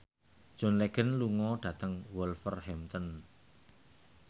John Legend lunga dhateng Wolverhampton